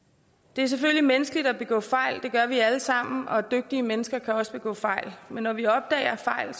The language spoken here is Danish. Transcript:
det er selvfølgelig menneskeligt at begå fejl det gør vi alle sammen og dygtige mennesker kan også begå fejl men når vi opdager fejl